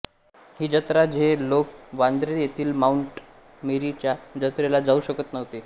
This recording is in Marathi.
ही जत्रा जे लोक वांद्रे येथील माऊंट मेरी च्या जत्रेला जाऊ शकत नव्हते